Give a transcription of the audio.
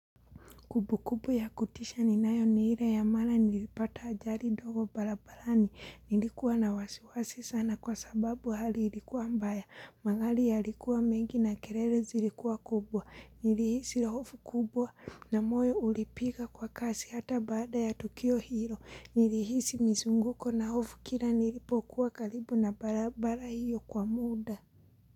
Kubu kubu ya kutisha ninayo ni hile ya mara nilipata ajari dogo balabalani. Nilikuwa na wasiwasi sana kwa sababu hali ilikuwa mbaya. Magari yalikuwa mengi na kelele zilikuwa kubwa. Nilihisi la hofu kubwa na moyo ulipiga kwa kasi hata baada ya tukio hilo. Nilihisi mzunguko na hofu kila nilipokuwa karibu na barabara hiyo kwa muda.